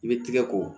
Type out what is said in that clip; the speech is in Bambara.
I bɛ tigɛ ko